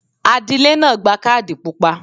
Adílẹ́ náà gba Kádì pupa.